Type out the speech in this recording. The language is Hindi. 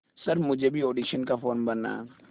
सर मुझे भी ऑडिशन का फॉर्म भरना है